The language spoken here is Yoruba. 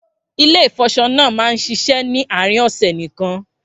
Ilé ìfọṣọ náà máa ń ṣiṣẹ́ ni àárín ọ̀sẹ̀ nìkan